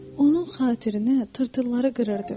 Onun xatirinə tırtılları qırırdım.